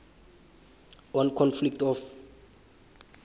on conflict of